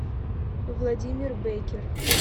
владимир беккер